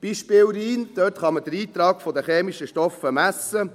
Beispiel Rhein: Dort kann man den Eintrag der chemischen Stoffe messen.